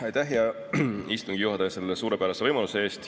Aitäh, hea istungi juhataja, selle suurepärase võimaluse eest!